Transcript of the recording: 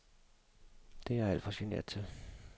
Det er jeg alt for genert til.